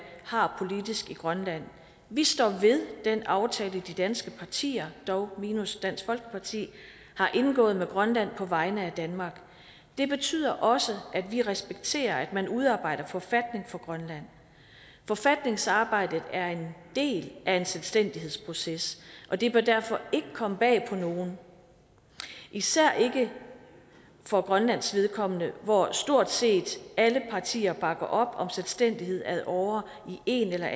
har politisk i grønland vi står ved den aftale de danske partier dog minus dansk folkeparti har indgået med grønland på vegne af danmark det betyder også at vi respekterer at man udarbejder en forfatning for grønland forfatningsarbejdet er en del af en selvstændighedsproces og det bør derfor ikke komme bag på nogen især ikke for grønlands vedkommende hvor stort set alle partier bakker op om selvstændighed ad åre i en eller